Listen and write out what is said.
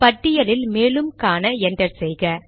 பட்டியலில் மேலும் காண என்டர் செய்க